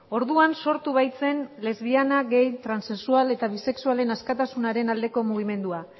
orduan sortu baitzen lesbiana gay transexual eta bisexualen askatasunaren aldeko mugimendua